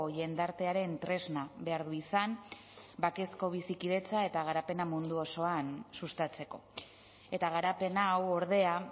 jendartearen tresna behar du izan bakezko bizikidetza eta garapena mundu osoan sustatzeko eta garapen hau ordea